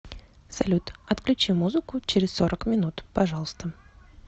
салют отключи музыку через сорок минут пожалуйста